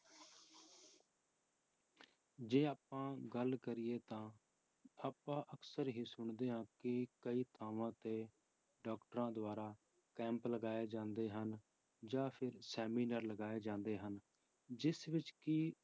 ਜੇ ਆਪਾਂ ਗੱਲ ਕਰੀਏ ਤਾਂ ਆਪਾਂ ਅਕਸਰ ਹੀ ਸੁਣਦੇ ਹਾਂ ਕਿ ਕਈ ਥਾਵਾਂ ਤੇ doctors ਦੁਆਰਾ camp ਲਗਾਏ ਜਾਂਦੇ ਹਨ, ਜਾਂ ਫਿਰ seminar ਲਗਾਏ ਜਾਂਦੇ ਹਨ, ਜਿਸ ਵਿੱਚ ਕਿ